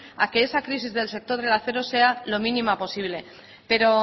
a que esa crisis del sector del acero sea lo mínima posible pero